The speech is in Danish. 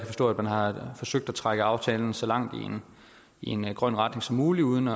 forstå at man har forsøgt at trække aftalen så langt i en grøn retning som muligt uden